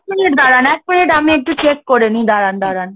Minute দাঁড়ন, এক minute আমি একটু check করে নিই? দাঁড়ান, দাঁড়ান,